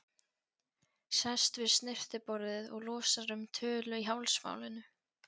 Sest við snyrtiborðið og losar um tölu í hálsmálinu.